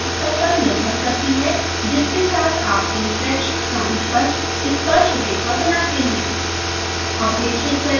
values शुद्धता पर निर्भर करती हैं जिसके साथ आप inflection point पर स्पर्शरेखा बनाते हैं